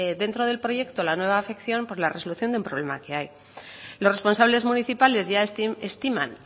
dentro del proyecto al nueva afección por la resolución de un problema que hay los responsables municipales ya estiman